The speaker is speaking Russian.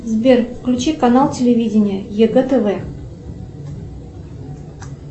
сбер включи канал телевидения ег тв